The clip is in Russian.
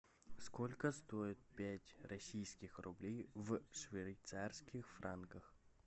сколько стоит пять российских рублей в швейцарских франках